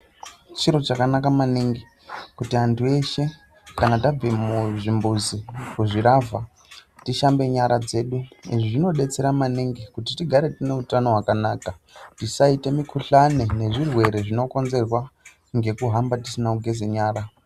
Chintu chakanaka maningi kuti antu eshe kana tabve muzvimbuzi, kuzvilavha tishambe nyara dzedu, zvinodetsera maningi kuti tigare tiine utano hwakanaka tisaite mikhuhlane nezvirwere zvinokonzerwa ngekuhamba tisina kugeza nyara.